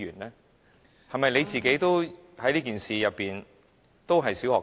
他自己在這件事情上是否也是"小學雞"？